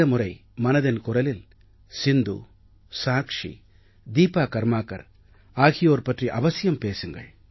முறை மனதின் குரலில் சிந்து சாக்ஷி தீபா கர்மாகர் ஆகியோர் பற்றி அவசியம் பேசுங்கள்